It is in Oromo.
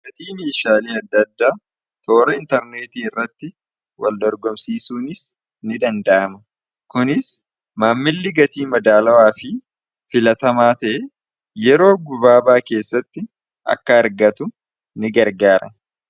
ggatii miishaalii adda adda toora intarneetii irratti waldorgomsiisuunis in danda'ama kunis maammilli gatii madaalawaa fi filatamaatee yeroo gubaabaa keessatti akka argatu in gargaare